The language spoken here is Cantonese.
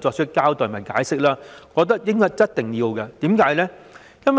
作出交代和解釋，我覺得一定要這樣做。